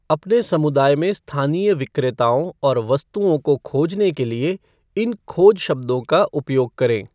अपने समुदाय में स्थानीय विक्रेताओं और वस्तुओं को खोजने के लिए इन खोज शब्दों का उपयोग करें।